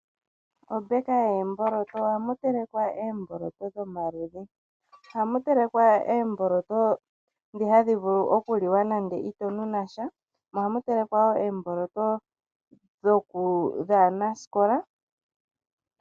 Ombeka yoomboloto, ohamu telekwa oomboloto dhomaludhi. Ohamu telekwa oomboloto ndhi hadhi vulu okuliwa nande ito nu nasha mo ohamu telekwa woo oomboloto dhaanasikola.